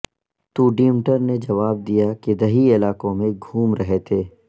تو ڈیمٹر نے جواب دیا کہ دیہی علاقوں میں گھوم رہے تھے